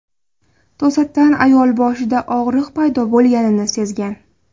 To‘satdan ayol boshida og‘riq paydo bo‘lganini sezgan.